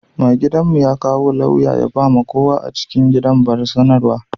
Mai gidan' mu ya kawo lauya ya ba ma kowa a cikin gidan bar sanarwa.